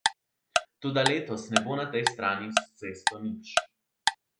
Toda letos ne bo na tej strani s cesto nič.